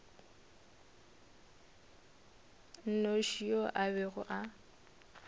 nnoši yo a bego a